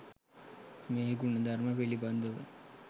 මේ ගුණධර්ම පිළිබඳ